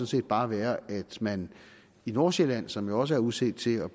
set bare være at man i nordsjælland som jo også er udset til at